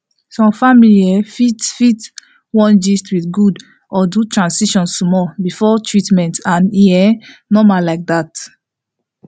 some family um fit fit wan gist with god or do tradition small before treatment and e um normal like that